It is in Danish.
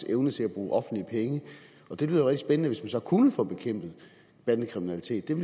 evne til at bruge offentlige penge det lyder jo rigtig spændende hvis man så kunne få bekæmpet bandekriminaliteten